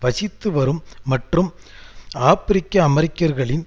வசித்துவரும் மற்றும் ஆபிரிக்கஅமெரிக்கர்களில்